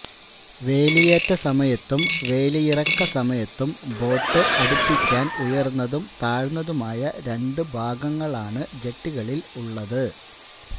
വേലിയേറ്റ സമയത്തും വേലിയിറക്ക സമയത്തും ബോട്ട് അടുപ്പിക്കാന് ഉയര്ന്നതും താഴ്ന്നതുമായ രണ്ടു ഭാഗങ്ങളാണ് ജെട്ടികളില് ഉള്ളത്